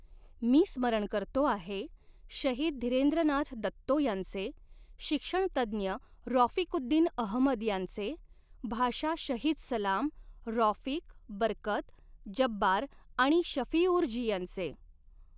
मी स्मरण करतो आहे, शहीद धीरेंद्रनाथ दत्तो यांचे, शिक्षणतज्ञ रॉफिकुद्दिन अहमद यांचे, भाषा शहीद सलाम, रॉफिक, बरकत, जब्बार आणि शफ़िऊर जी यांचे!